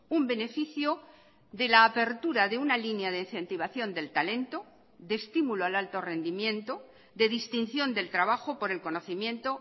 un beneficio de la apertura de una línea de incentivación del talento de estímulo al alto rendimiento de distinción del trabajo por el conocimiento